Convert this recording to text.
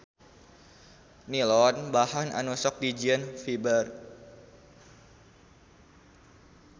Nilon bahan anu sok dijieun fiber.